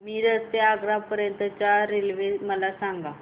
मिरज ते आग्रा पर्यंत च्या रेल्वे मला सांगा